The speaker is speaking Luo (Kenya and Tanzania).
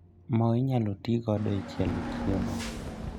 moo inyalo tii godo e chielo chiemo